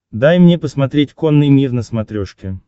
дай мне посмотреть конный мир на смотрешке